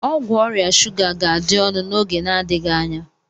Ọgwụ ọrịa shuga ga-adị ọnụ n'oge n'adịghị anya.